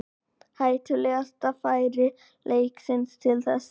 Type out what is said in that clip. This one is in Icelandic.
Hættulegasta færi leiksins til þessa.